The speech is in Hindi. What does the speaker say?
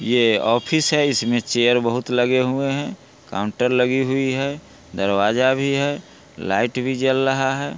ये ऑफिस है इसमें चेयर बहुत लगे हुए हैं काउंटर लगी हुइ है दरवाजा भी है लाइट भी जल रहा है।